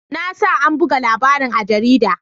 Na sa an buga labarin a jarida.